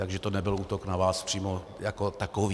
Takže to nebyl útok na vás přímo jako takový.